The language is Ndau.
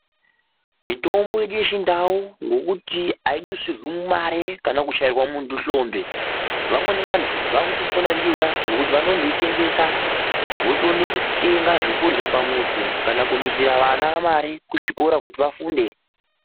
Mitombo yedu yechindau ngokuti aidusirwi mare kana kuchairwa muntu hlombe vamweni vantu vakutopona ndiyona ngokuti vanondoitengesa votoone kutenga zvekurya pamuzi kana kudusira vana mari kuzvikora kuti vafunde.